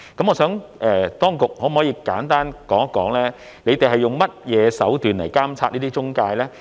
我想請當局簡單說一說，他們是用甚麼手段來監察這些中介呢？